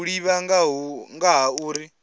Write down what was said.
u ḓivha nga ha uri